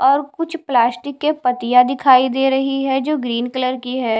और कुछ प्लास्टिक के पतिया दिखाई दे रही है जो ग्रीन कलर की है।